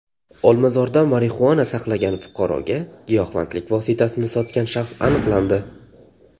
Olmazorda marixuana saqlagan fuqaroga giyohvandlik vositasini sotgan shaxs aniqlandi.